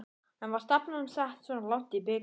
En var stefnan sett svona langt í bikarnum?